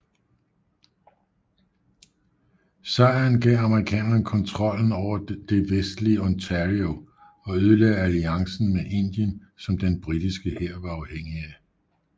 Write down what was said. Sejren gav amerikanerne kontrollen over det vestlige Ontario og ødelagde alliancen med Indien som den britiske hær var afhængig af